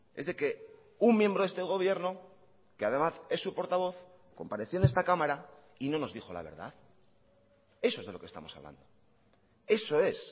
es de que un miembro de este gobierno que además es su portavoz compareció en esta cámara y no nos dijo la verdad eso es de lo que estamos hablando eso es